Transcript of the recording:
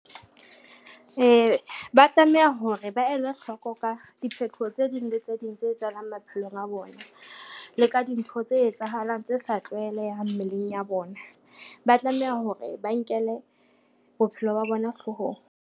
Ba tlameha hore ba ele hloko ka diphethoho tse ding le tse ding tse etsahalang maphelong a bona, le ka dintho tse etsahalang tse sa tlwaelehang mmeleng ya bona. Ba tlameha hore ba nkele bophelo ba bona hloohong.